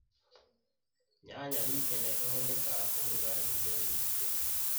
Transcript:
Nyanya ningĩ nĩ ĩhũthĩkaga kũruga irio nyingĩ